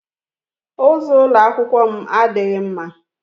Ụzọ ụlọ akwụkwọ m adịghị mma.